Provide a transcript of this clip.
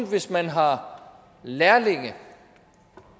hvis man har lærlinge